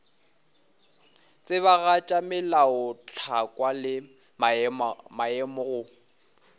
tsebagatša melaotlhakwa le maemo go